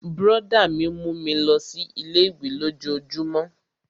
Brọ̀dá mi mú mi lọ sí ilé-ìwé lójojúmó